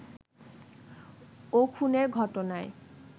ও খুনের ঘটনায়